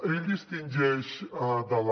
ell distingeix de la